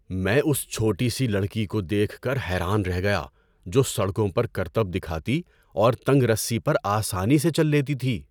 میں اس چھوٹی سی لڑکی کو دیکھ کر حیران رہ گیا جو سڑکوں پر کرتب دکھاتی اور تنگ رسی پر آسانی سے چل لیتی تھی۔